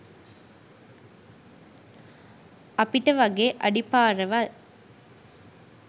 අපිට වගේ අඩි පාරවල්